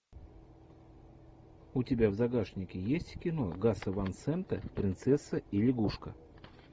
у тебя в загашнике есть кино гаса ван сента принцесса и лягушка